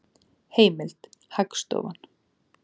Heimild: Hagstofan.